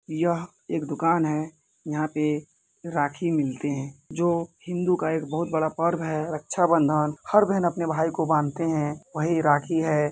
यह एक दूकान है। यहाँ पे राखी मिलते हैं जो हिन्दू का एक बहुत बड़ा पर्व है ऱक्षा बंधन। हर बहन अपने भाई को बान्धते हैं वही राखी है।